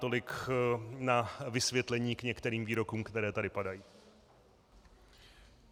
Tolik na vysvětlení k některým výrokům, které tady padají.